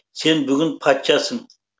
сен бүгін патшасың